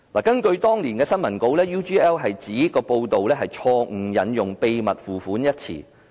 根據當年的新聞稿 ，UGL 指報道錯誤引用"秘密付款"一詞。